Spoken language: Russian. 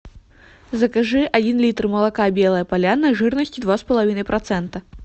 закажи один литр молока белая поляна жирностью два с половиной процента